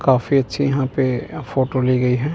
काफी अच्छी यहां पे फोटो ली गई है।